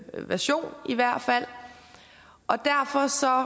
version i hvert fald